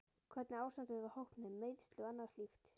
Hvernig er ástandið á hópnum, meiðsli og annað slíkt?